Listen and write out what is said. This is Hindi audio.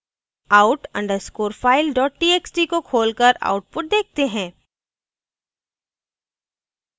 out _ underscore file dot txt को खोलकर output देखते हैं